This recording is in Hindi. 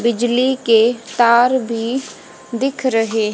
बिजली के तार भी दिख रहे--